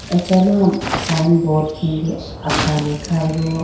achama sign board khege akhane khayi bo.